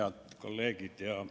Head kolleegid!